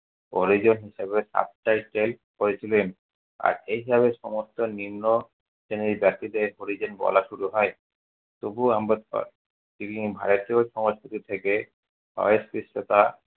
হরিজন হিসাবে করেছিলেন। আর এইভাবে সমস্ত নিম্নশ্রেণী জাতিদের হরিজন বলা শুরু হয়। তবুও আম্বেদকর তিনি ভারতীয় সমাজগুলি থেকে অস্পৃশ্যতা